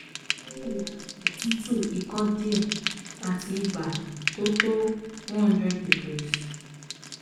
ó ń jìyà otutu ikọ́ díẹ̀ àti ibà tó tó 100 degrees